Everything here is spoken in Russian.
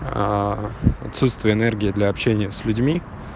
отсутствие энергии для общения с людьми